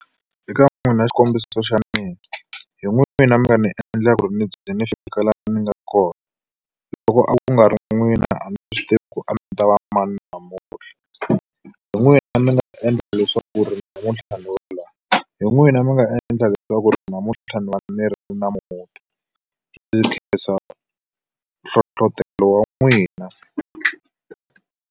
Eka n'wina xikombiso xa mina, hi n'wina mi nga ni endla ku ri ni ze ni fika laha ni nga kona. Loko a ku nga ri na n'wina a ni swi tivi ku ri a ni ta va mani namuntlha. Hi n'wina mi ni nga endla leswaku ri namuntlha ni va laha, hi n'wina mi nga endla leswaku ri namuntlha ni va ni ri na muti. Ndzi khensa hlohletelo wa n'wina.